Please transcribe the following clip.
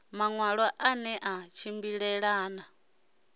maṋwalo a ne a tshimbilelana